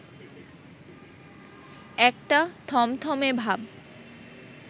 একটা থমথমে ভাব